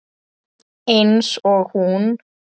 Eins og hún.